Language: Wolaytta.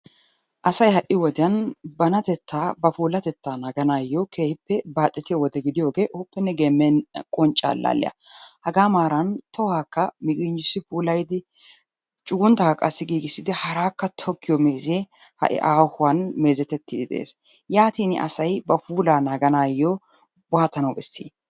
Asay ha"i wodiyan banatettaa, ba puulatettaa naaganaayyo keehippe baaxetiyo wode gidiyogee ooppenne geemmenna qoncce allaalliya. Hagaa maaran tohaakka miginjjissi puulayidi cugunttaakka giigissidi haraakka tokkiyo meezee ha"i aahuwan meezetettiiddi de'ees. Yaatiini asay ba puulaa naaganaayyo waatawu bessi?